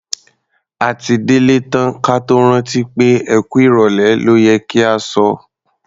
A ti délé tán ka tó rántí pé "ẹ kú ìrọ̀lẹ́ ló yẹ kí a sọ".